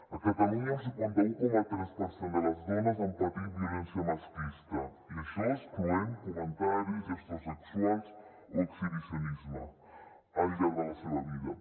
a catalunya un cinquanta un coma tres per cent de les dones han patit violència masclista i això excloent comentaris gestos sexuals o exhibicionisme al llarg de la seva vida